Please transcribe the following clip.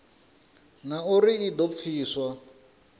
na uri i do pfiswa